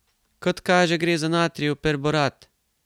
Kot kaže, gre za natrijev perborat.